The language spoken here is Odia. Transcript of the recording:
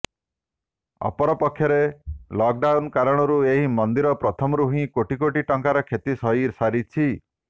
ଅପରପକ୍ଷେ ଲକ୍ଡାଉନ୍ କାରଣରୁ ଏହି ମନ୍ଦିର ପ୍ରଥମରୁ ହିଁ କୋଟି କୋଟି ଟଙ୍କାର କ୍ଷତି ସହି ସାରିଛି